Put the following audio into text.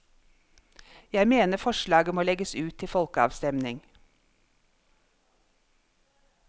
Jeg mener forslaget må legges ut til folkeavstemning.